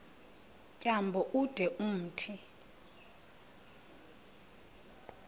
tyambo ude umthi